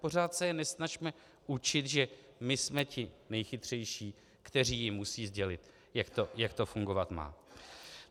Pořád se je nesnažme učit, že my jsme ti nejchytřejší, kteří jim musí sdělit, jak to fungovat má.